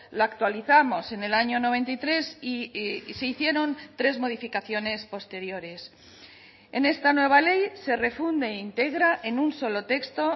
la actualizamos en el año noventa y tres y se hicieron tres modificaciones posteriores en esta nueva ley se refunde e integra en un solo texto